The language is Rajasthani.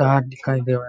कार दिखाई देवे है।